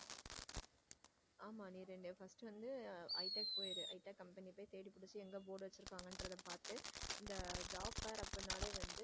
ஆமா நீ first வந்து ஹைட்டா company போயிடு தேடி புடிச்சி எங்க board வச்சிருக்காங்கன்றத பாத்து இந் job fair அப்படி என்றாலே வந்து.